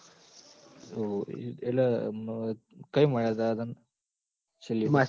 એટલ કઈ મળ્યા તા તન છેલ્લીવાર